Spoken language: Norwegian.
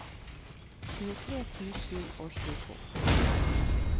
tjuetre tusen og tjueto